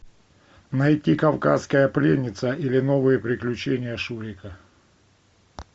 найти кавказская пленница или новые приключения шурика